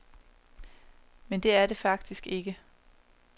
Men det er det faktisk ikke.